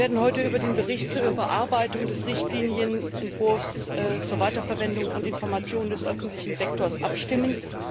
Wir werden heute über den Bericht zur Überarbeitung des Richtlinienentwurfs zur Weiterverwendung von Informationen des öffentlichen Sektors abstimmen.